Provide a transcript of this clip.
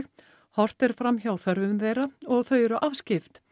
horft er fram hjá þörfum þeirra og þau eru afskipt